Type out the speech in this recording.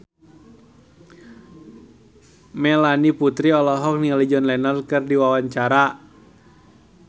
Melanie Putri olohok ningali John Lennon keur diwawancara